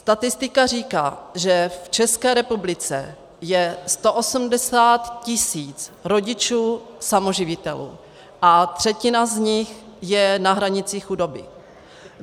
Statistika říká, že v České republice je 180 tis. rodičů samoživitelů a třetina z nich je na hranici chudoby.